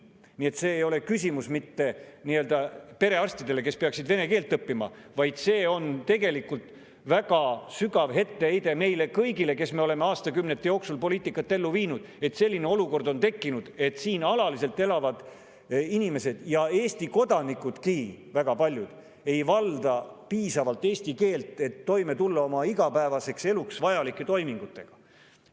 Nii et see ei ole küsimus mitte perearstidele, kes peaksid vene keelt õppima, vaid see on väga sügav etteheide meile kõigile, kes me oleme aastakümnete jooksul viinud ellu sellist poliitikat, mille tõttu on tekkinud selline olukord, et siin alaliselt elavad inimesed, neist väga paljud ka Eesti kodanikud, ei valda piisavalt eesti keelt, et tulla toime igapäevases elus vajalike toimingutega.